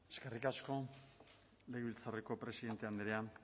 eskerrik asko legebiltzarreko presidente andrea